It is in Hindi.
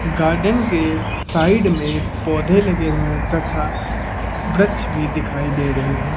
गार्डन के साइड में पौधे लगे हुए तथा वृक्ष भी दिखाई दे रहे हैं।